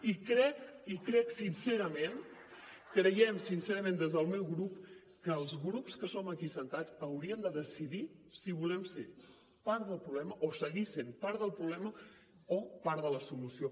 i crec i crec sincerament creiem sincerament des del meu grup que els grups que som aquí asseguts hauríem de decidir si volem ser part del problema o seguir sent part del problema o part de la solució